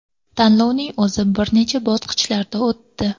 Tanlovning o‘zi bir necha bosqichlarda o‘tdi.